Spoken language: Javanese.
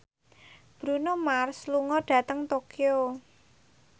Bruno Mars lunga dhateng Tokyo